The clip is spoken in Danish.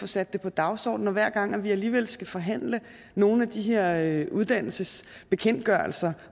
sat på dagsordenen hver gang vi alligevel skal forhandle nogle af de her uddannelsesbekendtgørelser